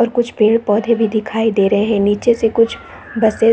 और कुछ पेड़-पौधे दिखाई दे रहे है नीचे से कुछ बसे --